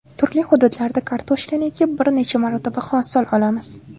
Turli hududlarda kartoshkani ekib, bir necha marotaba hosil olamiz.